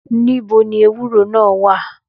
Nìbó ni èwúrò ná wà